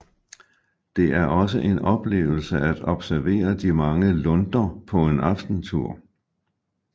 Det er også en oplevelse at observere de mange lunder på en aftentur